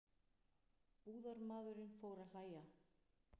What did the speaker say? Búðarmaðurinn fór að hlæja.